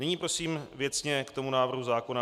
Nyní prosím věcně k tomu návrhu zákona.